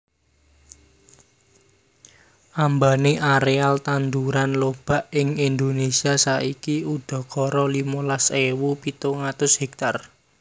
Ambane areal tanduran lobak ing Indonesia saiki udakara limolas ewu pitung atus hektar